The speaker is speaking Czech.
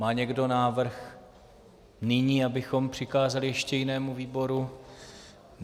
Má někdo návrh nyní, abychom přikázali ještě jinému výboru?